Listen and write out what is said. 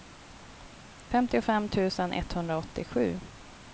femtiofem tusen etthundraåttiosju